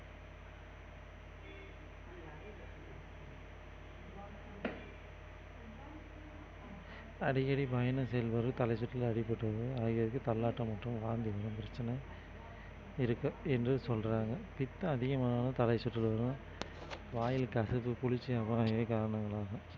அடிக்கடி பயணம் செய்பவர்கள் தலைசுற்றலில் ஆகியவர்க்கு தள்ளாட்டம் மற்றும் வாந்தி வரும் பிரச்சனை இருக்கு என்று சொல்றாங்க பித்தம் அதிகமானாலும் தலைசுற்றல் வரும் வாயில கசப்பு